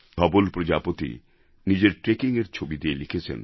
ধবল প্রজাপতি নিজের ট্রেকিংএর ছবি দিয়ে লিখেছেন